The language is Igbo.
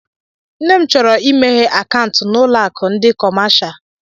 Nne m chọrọ imeghé akaụntu na ụlọ akụ ndị kọmáshá